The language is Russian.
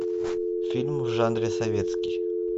фильм в жанре советский